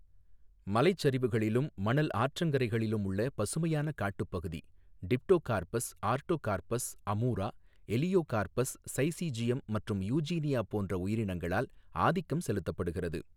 மலைச் சரிவுகளிலும், மணல் ஆற்றங்கரைகளிலும் உள்ள பசுமையான காட்டுப்பகுதி Dipterocarpus, Artocarpus, Amoora, Elaeocarpus, Syzygium மற்றும் யுஜீனியா போன்ற உயிரினங்களால் ஆதிக்கம் செலுத்தப்படுகின்றது.